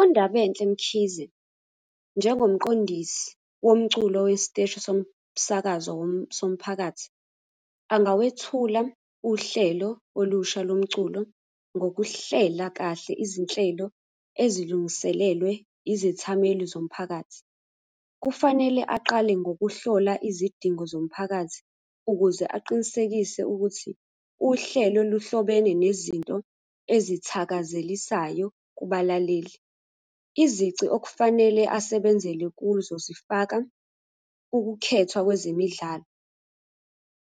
UNdabenhle Mkhize, njengomqondisi womculo wesiteshi somsakazo somphakathi, angawethula uhlelo olusha lomculo ngokuhlela kahle izinhlelo ezilungiselelwe izethameli zomphakathi. Kufanele aqale ngokuhlola izidingo zomphakathi ukuze aqinisekise ukuthi uhlelo luhlobene nezinto ezithakazelisayo kubalaleli. Izici okufanele asebenzele kuzo zifaka ukukhethwa kwezemidlalo.